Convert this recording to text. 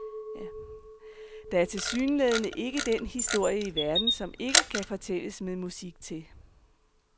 Der er tilsyneladende ikke den historie i verden, som ikke kan fortælles med musik til.